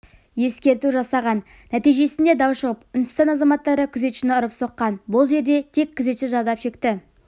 ескерту жасаған нәтижесінде дау шығып үндістан азаматтары күзетшіні ұрып-соққан бұл жерде тек күзетші зардап шекті